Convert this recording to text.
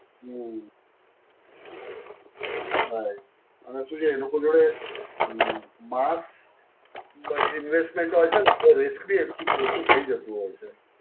હમ્મ. right. અને શું છે? એ લોકો જોડે હમ્મ માસ માં investment હોય છે ને તો risk બી એટલું ઓછું થઈ જતું હોય છે.